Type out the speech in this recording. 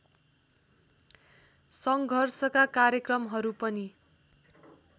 सङ्घर्षका कार्यक्रमहरू पनि